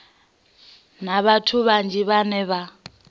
na vhathu vhanzhi vhane vha